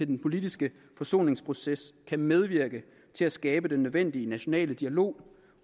den politiske forsoningsproces kan medvirke til at skabe den nødvendige nationale dialog